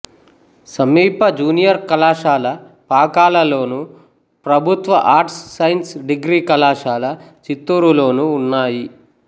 సమీప జూనియర్ కళాశాల పాకాలలోను ప్రభుత్వ ఆర్ట్స్ సైన్స్ డిగ్రీ కళాశాల చిత్తూరులోనూ ఉన్నాయి